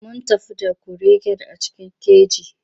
Mun tafi da kuregen a cikin keji.